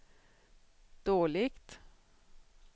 dåligt